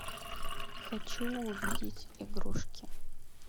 хочу увидеть игрушки